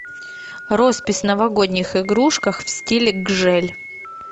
роспись новогодних игрушек в стиле гжель